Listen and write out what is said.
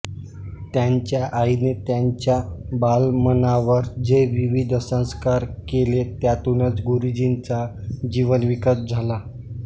त्यांच्या आईने त्यांच्या बालमनावर जे विविध संस्कार केले त्यातूनच गुरुजींचा जीवनविकास झाला